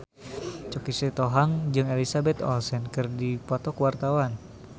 Choky Sitohang jeung Elizabeth Olsen keur dipoto ku wartawan